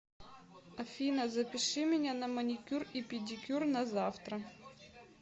афина запиши меня на маникюр и педикюр на завтра